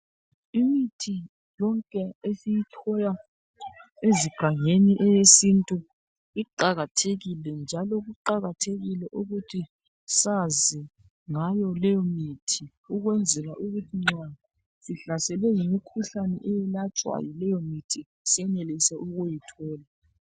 imithi yonke esiyithola ezigangeni eyesintu iqhakathekile njalo kuqhakathekile ukuthi sazi ngayo leyimuthi ukwenzela ukuthi nxa sihlaselwe yimikhuhlane eyelatshwa yileyo muthi senelise ukuyithola